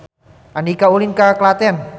Andika ulin ka Klaten